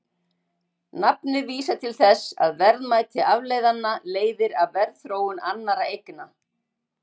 Nafnið vísar því til þess að verðmæti afleiðanna leiðir af verðþróun annarra eigna.